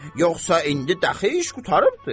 Yoxsa indi dəxi iş qurtarıbdır.